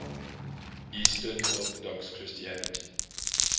eastern orthodox christianity